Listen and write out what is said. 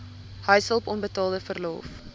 huishulp onbetaalde verlof